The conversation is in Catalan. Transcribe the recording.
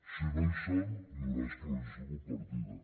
si no hi són hi haurà escolarització compartida